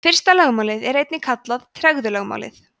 fyrsta lögmálið er einnig kallað tregðulögmálið